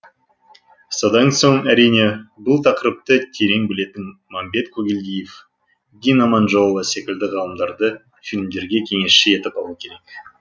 содан соң әрине бұл тақырыпты терең білетін мәмбет қойгелдиев дина аманжолова секілді ғалымдарды фильмдерге кеңесші етіп алу керек